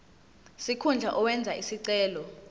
sikhundla owenze isicelo